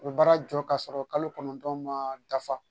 U bɛ baara jɔ k'a sɔrɔ kalo kɔnɔntɔn ma dafa